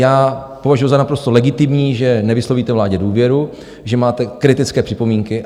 Já považuju za naprosto legitimní, že nevyslovíte vládě důvěru, že máte kritické připomínky.